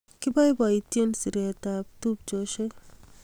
Kibaibaitynchini siret ab tupcheshek